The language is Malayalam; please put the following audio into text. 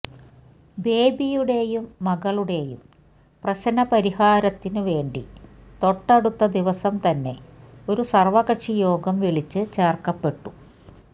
ബേബിയുടെയും മകളുടെയും പ്രശ്ന പരിഹാരത്തിനു വേണ്ടി തൊട്ടടുത്ത ദിവസം തന്നെ ഒരു സര്വ്വകക്ഷിയോഗം വിളിച്ച് ചേര്ക്കപ്പെട്ടു